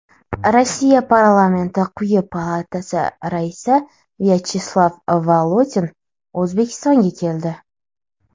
Rossiya parlamenti quyi palatasi raisi Vyacheslav Volodin O‘zbekistonga keldi.